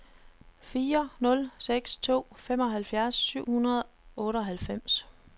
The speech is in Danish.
fire nul seks to femoghalvfjerds syv hundrede og otteoghalvfems